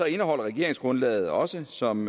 indeholder regeringsgrundlaget også som